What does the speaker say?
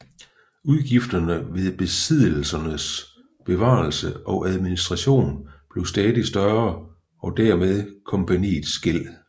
Udgifterne ved besiddelsernes bevarelse og administration blev stadig større og dermed kompagniets gæld